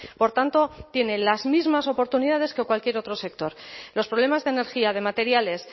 por tanto tiene las mismas oportunidades que cualquier otro sector los problemas de energía de materiales